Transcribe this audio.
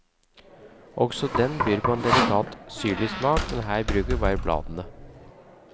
Også den byr på en delikat syrlig smak, men her bruker vi bladene.